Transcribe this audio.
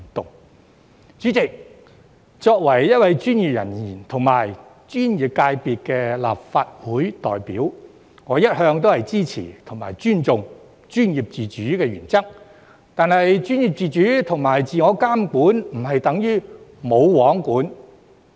代理主席，作為一位專業人員及專業界別的立法會代表，我一向支持及尊重專業自主的原則，但專業自主和自我監管不等於"冇皇管"。